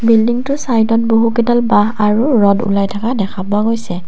বিল্ডিংটোৰ চাইডত বহুকেইডাল বাঁহ আৰু ৰদ ওলাই থকা দেখা পোৱা গৈছে।